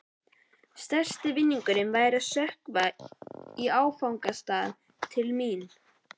Stærsti vinningurinn væri að stökkva í áfangastað til mín.